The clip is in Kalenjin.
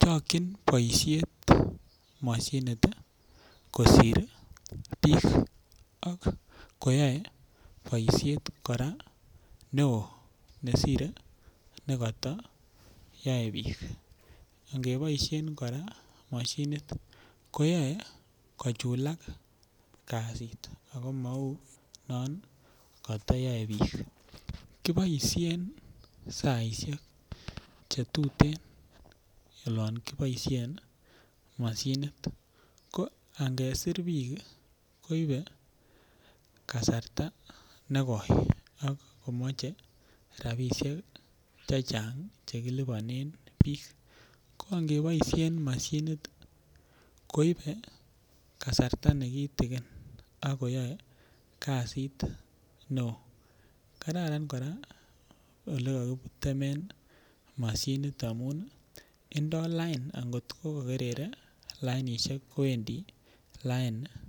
chokyin boisyet mashinit kosir bik ak koyoe boisiet kora neo kosir nekata yae bik angeboisien kora mashinit ko yoe kochulak kasit ago mou non kotoyoe bik kiboisien saisiek Che tuten olon kiboisien moshinit ko angesir bik koibe kasarta negoi ak komache rabisiek chechang Che kilipanen bik ko angeboisien mashinit ko ibe kasarta nekiten ak yoe kasiit neo kora kora ko Kararan ngeboisien mashinit amun olon kikerere lainisiek kondoi lain